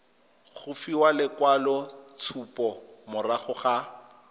go fiwa lekwaloitshupo morago ga